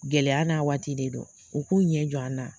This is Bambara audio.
Gɛlɛya n'a waati de don u k'u ɲɛ jɔ an na.